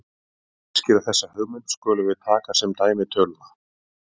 Til að útskýra þessa hugmynd skulum við taka sem dæmi töluna